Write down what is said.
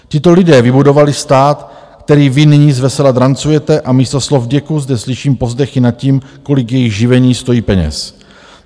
Tito lidé vybudovali stát, který vy nyní zvesela drancujete, a místo slov vděku zde slyším povzdechy nad tím, kolik jejich živení stojí peněz.